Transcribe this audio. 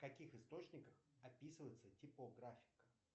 в каких источниках описывается типографика